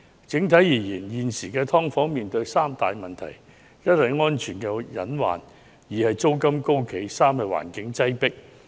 整體而言，時下"劏房"存在三大問題：一為安全隱患；二為租金高企；三為環境擠迫。